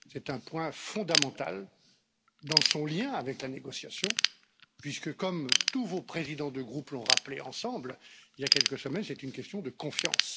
C'est un point fondamental dans son lien avec la négociation, puisque comme tous vos présidents de groupes l'ont rappelé ensemble il y a quelques semaines, c'est une question de confiance.